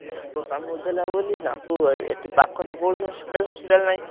ସାପ କାମୁଡିଦେଲା ବୋଲି ତାଙ୍କୁ ଏ ଏଠି ପାଖରେ ତ କୌଣସି hospital ଫସପିଟାଲ ନାହିଁ।